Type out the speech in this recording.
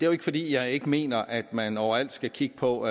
jo ikke fordi jeg ikke mener at man overalt skal kigge på